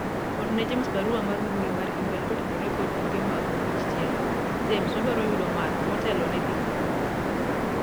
orne james barua mar mbui mar email kotenore kod tuke mag opich tielo James wadwaro yudo math motelo ne dhi kuno